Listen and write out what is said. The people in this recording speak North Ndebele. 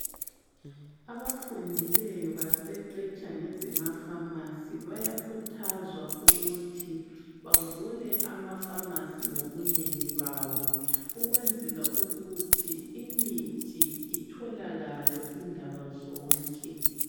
Abafundileyo baqeqetsha ngezema pharmacy bayakhuthazwa ukuthi bavule ama pharmacy ngobunengi bawo. Ukwenzela ukuthi imithi itholakale indawo zonke.